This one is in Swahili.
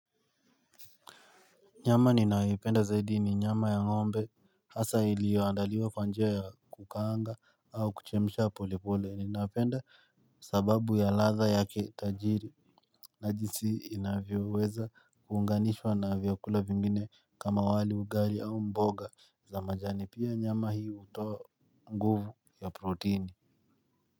Nyama ninayoipenda zaidi ni nyama ya ngombe. Hasa iliyoandaliwa kwa njia ya kukaanga au kuchemsha pole pole. Ninapenda kwa sababu ya ladha yake tajiri. Na jinsi inavyoweza kuunganishwa na vyakula vingine kama wali, ugali au mboga za majani. Pia nyama hii hutoa nguvu ya protini.